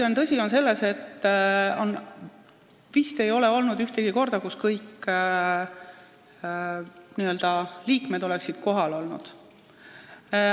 Tõsi on see, et vist ei ole olnud ühtegi korda, kus kõik liikmed oleksid istungil kohal olnud.